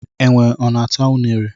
Enwe ọ na-ata ụnere?